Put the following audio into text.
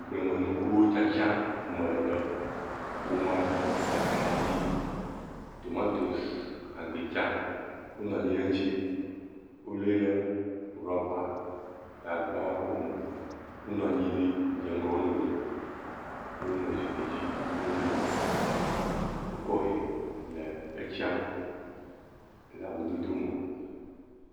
Agblemenukuwo tsitsia me le wome le, atadi, gbitsa tomantosi wonɔ anyi ɖe eŋutiwole ɖe rɔba gagbawo me, wonɔ anyi ɖi dze ŋgɔ wo nɔewo, wonɔ zikpui dzi wokɔ ehe le etsiam le ŋudodo me.